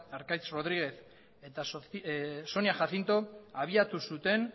arkaitz rodríguez eta sonia jacinto abiatu zuten